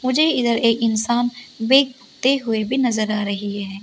मुझे इधर एक इंसान बेकते हुए भी नजर आ रही है।